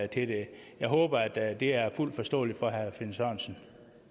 det jeg håber at det er fuldt forståeligt for herre finn sørensen